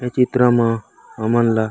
ए चित्र मा हमन ला--